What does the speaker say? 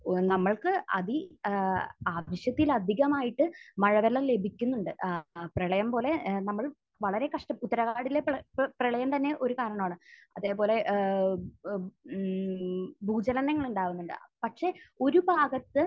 നമ്മൾക്ക് അതി...ഏഹ് ആവശ്യത്തിൽ അധികമായിട്ട് മഴവെള്ളം ലഭിക്കുന്നുണ്ട്. ഏഹ് പ്രളയം പോലെ ഏഹ് നമ്മൾ വളരെ കഷ്ട...ഉത്തരാഖൻഡിലെ പ്ര...പ്രളയം തന്നെ ഒരു കാരണമാണ്. അതേപോലെ ഏഹ് എഹ് മ്മ്മ് ഭൂചലനങ്ങൾ ഉണ്ടാവുന്നുണ്ട്. പക്ഷെ ഒരു ഭാഗത്ത്